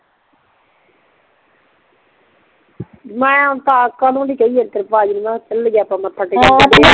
ਮੈਂ ਕਦੋਂ ਦੀ ਕਿਹੰਦੀ ਆ ਤੇਰੇ ਪਾਜੀ ਨੂ ਚੱਲੀਏ ਆਪਾਂ ਮੱਥਾ ਟੇਕ ਕੇ ਆਈਏ